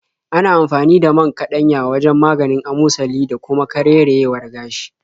Ana amfani da man kaɗanya wajen maganin amosali da kuma karerayewar gashi.